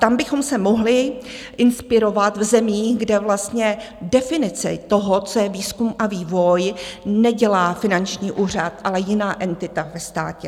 Tam bychom se mohli inspirovat v zemích, kde vlastně definice toho, co je výzkum a vývoj, nedělá finanční úřad, ale jiná entita ve státě.